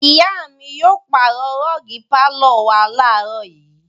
Ìyá mi yóò pàrọ̀ rọ́ọ́gì pálọ̀ wa láàárọ̀ yìí.